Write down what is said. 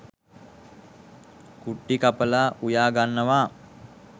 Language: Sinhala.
කුට්ටි කපලා උයා ගන්නවා.